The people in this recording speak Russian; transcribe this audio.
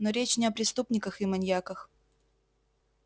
но речь не о преступниках и маньяках